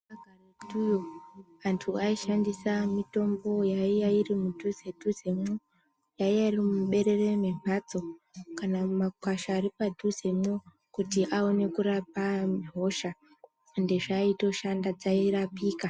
Karetuyo antu aishandisa mitombo yaiya iri mudhuze dhuzemwo yaiya iri muberere mwemhatso kana makwasha ari mudhuzemwo kuti aone kurape hosha ende zvaitoshanda, dzairapika.